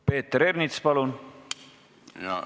Peeter Ernits, palun!